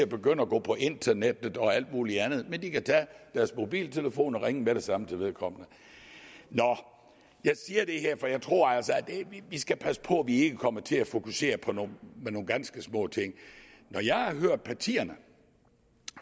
begynde at gå på internettet og alt muligt andet men kan tage deres mobiltelefon og ringe med det samme til vedkommende jeg siger det her for jeg tror altså at vi skal passe på at vi ikke kommer til at fokusere på nogle ganske små ting når jeg har hørt partierne